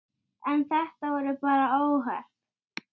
Hljóta alltaf að verða það.